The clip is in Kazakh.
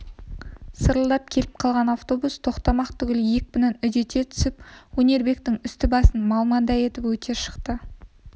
сарылдап келіп қалған автобус тоқтамақ түгіл екпінін үдете түсіп өнербектің үсті-басын малмандай етіп өте шықты